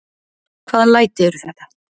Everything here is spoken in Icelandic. Hvaða læti eru þetta?